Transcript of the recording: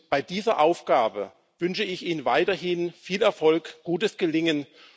Bei dieser Aufgabe wünsche ich Ihnen weiterhin viel Erfolg, gutes Gelingen.